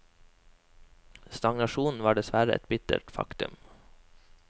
Stagnasjonen var dessverre et bittert faktum.